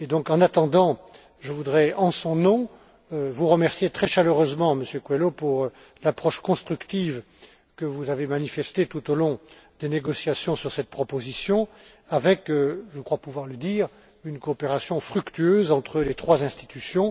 en attendant, je voudrais, en son nom, vous remercier très chaleureusement, Monsieur Coelho, pour l'approche constructive dont vous avez fait preuve tout au long des négociations sur cette proposition avec je crois pouvoir le dire une coopération fructueuse entre les trois institutions.